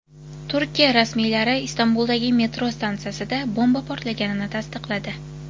Turkiya rasmiylari Istanbuldagi metro stansiyasida bomba portlaganini tasdiqladi.